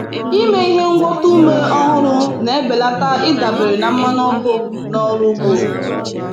Ime ihe ngwọta ume ọhụrụ na-ebelata ịdabere na mmanụ ọkụ na ọrụ ugbo.